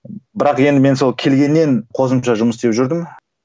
бірақ енді мен сол келгеннен қосымша жұмыс істеп жүрдім